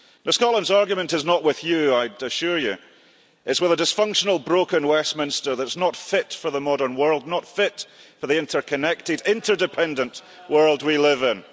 Scotland's argument is not with you, I assure you, it is with a dysfunctional broken Westminster that's not fit for the modern world, not fit for the interconnected, interdependent world we live in.